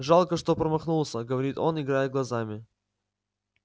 жалко что промахнулся говорит он играя глазами